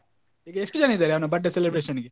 ಈಗ ಎಷ್ಟು ಜನ ಇದ್ದಾರೆ ಅವನ birthday celebration ಗೆ?